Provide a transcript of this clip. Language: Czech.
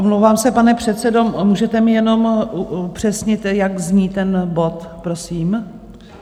Omlouvám se, pane předsedo, můžete mi jenom upřesnit, jak zní ten bod prosím?